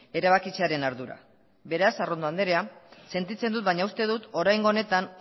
erabakitzearen ardura beraz arrondo andrea sentitzen dut baina uste dut oraingo honetan